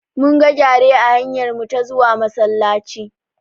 Mun ga gyare a hanyarmu ta zuwa Masallaci.